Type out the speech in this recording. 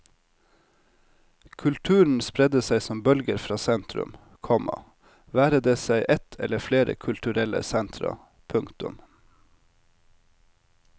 Kulturen spredde seg som bølger fra sentrum, komma være det seg ett eller flere kulturelle sentra. punktum